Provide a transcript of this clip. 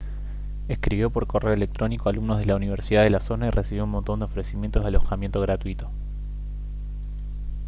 escribió por correo electrónico a alumnos de la universidad de la zona y recibió un montón de ofrecimientos de alojamiento gratuito